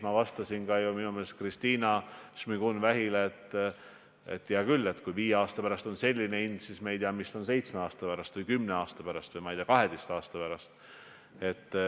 Ma vastasin enda meelest ju ka Kristina Šmigun-Vähile, et hea küll, kui viie aasta pärast on selline hind, aga me ei tea, mis on seitsme aasta pärast, kümne aasta pärast või, ma ei tea, 12 aasta pärast.